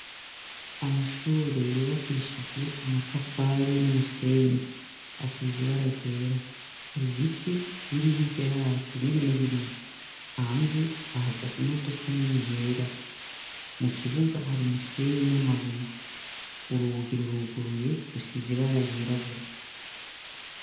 Amashure yubakishije amatafari n'umusenyi ,asizibara ryera har' ibiti biri hirya yaho birebire ,hanze hahagaze imodoka nini yera ,mu kibuga hari umusenyi n'amabuye, urugi ruruguruye rusize ibara ryirabura.